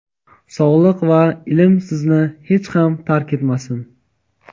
sog‘lik va ilm sizni hech ham tark etmasin.